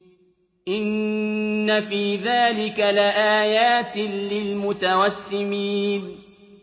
إِنَّ فِي ذَٰلِكَ لَآيَاتٍ لِّلْمُتَوَسِّمِينَ